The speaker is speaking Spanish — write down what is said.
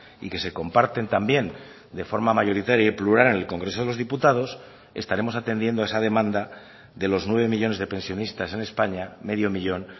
y que se comparten también de forma mayoritaria y plural en el congreso de los diputados estaremos atendiendo esa demanda de los nueve millónes de pensionistas en españa medio millón